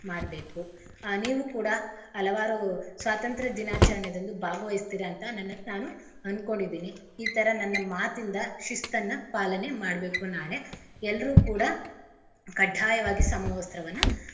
ಮಾಡ್ಬೇಕು. ಆಹ್ ನೀವು ಕೂಡ ಹಲವಾರು ಸ್ವತಂತ್ರ ದಿನಾಚರಣೆದಂದು ಭಾಗವಹಿಸ್ತಿರಂತ ನನ್ನ~ ನಾನು ಅನ್ಕೊಂಡಿದಿನಿ ಈತರಾ ನನ್ನ ಮಾತಿಂದ ಶಿಸ್ತನ್ನ ಪಾಲನೆ ಮಾಡ್ಬೇಕು ನಾಳೆ. ಎಲ್ರೂ ಕೂಡ ಕಢ್ಢಾಯವಾಗಿ ಸಮವಸ್ತ್ರವನ್ನ.